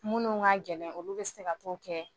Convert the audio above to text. Minnu k'a gɛlɛn olu bɛ se ka t'o kɛ